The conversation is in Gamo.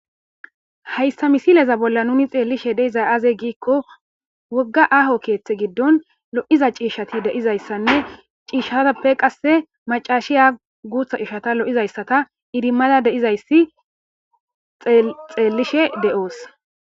hayssa misileza bolla nuni xeellishe deizay aze giikko wogga aaho keeththe giddon lo7iza ciishshati deizayssanne ciishshaappe qasse macaashiya guutha ciishata lo7izayssata idimmada deizayssi xeellishe de7oos